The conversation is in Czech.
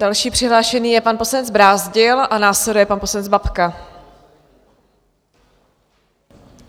Další přihlášený je pan poslanec Brázdil a následuje pan poslanec Babka.